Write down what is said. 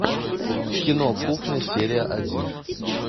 кино кухня серия один